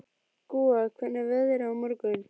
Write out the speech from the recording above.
Gúa, hvernig er veðrið á morgun?